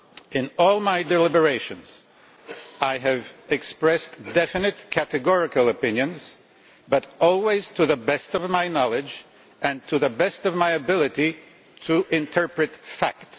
In all my deliberations I have expressed definite, categorical opinions, but always to the best of my knowledge and to the best of my ability to interpret facts.